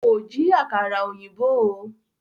Kò jí àkàrà ọ̀yìnbó o.